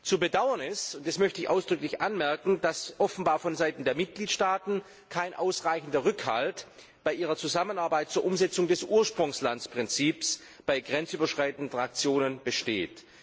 Zu bedauern ist das möchte ich ausdrücklich anmerken dass offenbar von Seiten der Mitgliedstaaten kein ausreichender Rückhalt bei ihrer Zusammenarbeit zur Umsetzung des Ursprungslandsprinzips bei grenzüberschreitenden Transaktionen besteht.